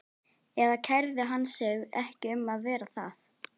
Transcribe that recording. Eða kærði hann sig ekki um að vera það?